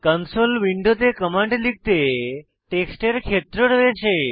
console উইন্ডোতে command লিখতে টেক্সটের ক্ষেত্র রয়েছে